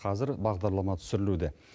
қазір бағдарлама түсірілуде